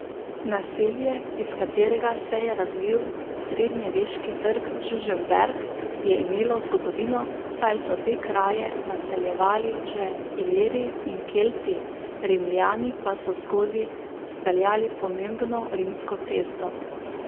Naselje, iz katerega se je razvil srednjeveški trg Žužemberk, je imelo zgodovino, saj so te kraje naseljevali že Iliri in Kelti, Rimljani pa so skozi speljali pomembno rimsko cesto.